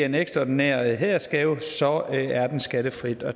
en ekstraordinær hædersgave så er den skattefri